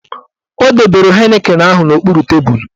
Ọ dobere Heineken ahụ n'okpuru tebulu